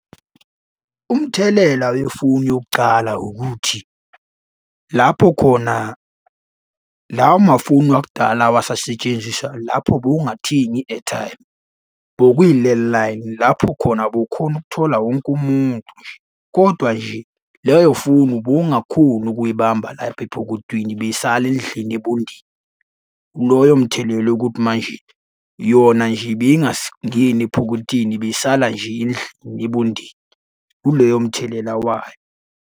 Umthelela wefoni yokucala ukuthi, lapho khona, lawa mafoni wakudala awasasetshenziswa lapho bewungathengi i-airtime. Bokuyi-landline lapho khona bewukhona ukuthola wonke umuntu nje, kodwa nje leyo foni ubungakhoni ukuy'bamba lapha epokotweni ibisala endlini ebondeni. Loyo mthelela wokuthi manje, yona nje ibingangeni epokotheni ibisala nje indlu ebondeni, kuleyo mthelela wayo.